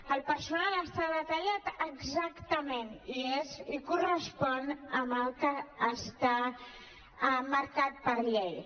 el personal està detallat exactament i correspon amb el que està marcat per llei